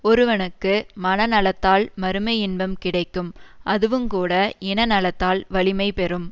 ஒருவனுக்கு மனநலத்தால் மறுமை இன்பம் கிடைக்கும் அதுவுங்கூட இன நலத்தால் வலிமை பெறும்